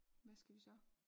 Hvad skal vi så